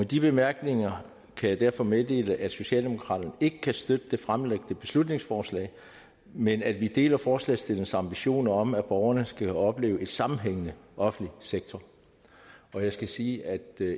de bemærkninger kan jeg derfor meddele at socialdemokraterne ikke kan støtte det fremsatte beslutningsforslag men at vi deler forslagsstillernes ambitioner om at borgerne skal opleve en sammenhængende offentlig sektor jeg skal sige at